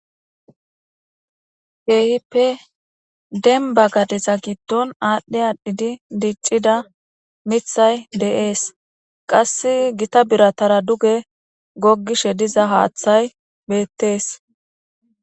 Keehippe denba gadeza giddon aadhdhi aadhdhidi diccida mithay de'ees qass gita biratara duge goggishe diza haaththay beettees